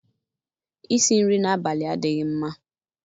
Isi nri n'abalị adịghị mma.